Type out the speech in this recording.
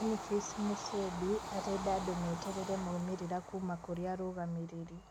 Boniface Musembi arenda andũ meterere maũmĩrĩrĩra kuma kurĩ arũgamĩrĩri